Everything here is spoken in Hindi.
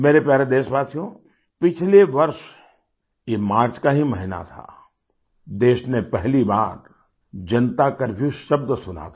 मेरे प्यारे देशवासियो पिछले वर्ष ये मार्च का ही महीना था देश ने पहली बार जनता करफ्यू शब्द सुना था